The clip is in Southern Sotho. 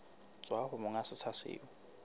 tswa ho monga setsha seo